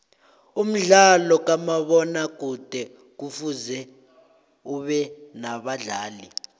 umdlalo kamabona kude kufuze ubenabadlali